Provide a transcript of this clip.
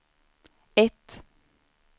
ett